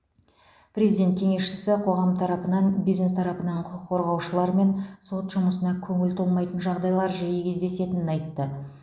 президент кеңесшісі қоғам тарапынан бизнес тарапынан құқық қорғаушылар мен сот жұмысына көңіл толмайтын жағдайлар жиі кездесетінін айтты